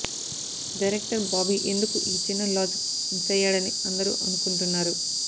director Bobby ఎందుకు ఈ చిన్న లాజిక్ మిస్ అయ్యాడని అందరు అనుకుంటున్నారు